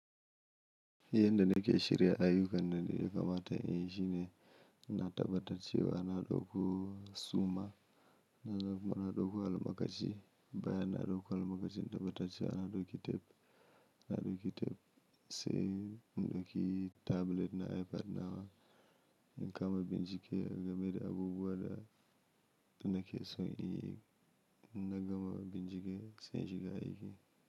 Yanda nake shirya ayyukan nan, da ya kamata in yi shine. Na tabbatar cewa ana ɗauko suma, na ɗauko almakashi bayan na ɗauko almakashi, na tabbatar cewa ana ɗauki tef, ana ɗauki tef. Sai in ɗauki tablet na iPad nawa, in kama bincike gama da abubuwa da. Nake so in yi, in na gama binjike sai shiga aiki.